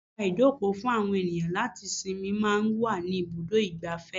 Àga ìjókòó fún àwọn ènìyàn láti sinmi máa ń wà ní ibùdó igbàfẹ́.